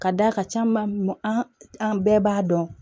Ka d'a ka ca ma an bɛɛ b'a dɔn